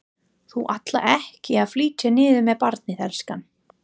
Þú ætlar ekki að flytja niður með barnið, elskan?